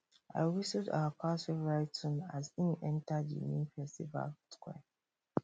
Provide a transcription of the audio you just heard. i whistled awa cows favourite tune as im enta di main festival square